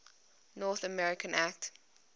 north america act